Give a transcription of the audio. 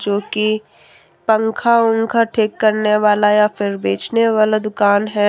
जो कि पंखा वंखा ठीक करने वाला या फिर बेचने वाला दुकान है।